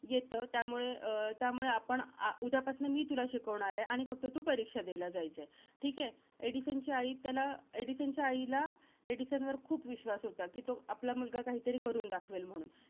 येतं. त्यामुळे अं त्यामुळे आपण आ~ उद्यापासनं मी तुला शिकवणार आहे, आणि फक्त तू परीक्षा द्यायला जायचयं. ठीके? एडिसनची आई त्याला, एडिसनच्या आईला एडिसनवर खूप विश्वास होता, कि तो आपला मुलगा काहीतरी करून दाखवेल म्हणून.